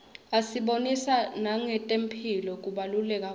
asibonisa nangetemphilo kubaluleka kwato